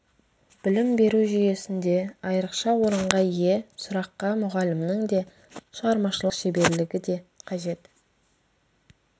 білім беру жүйесінде айрықша орынға ие сұраққа мұғалімнің де шығармашылық шеберлігі де қажет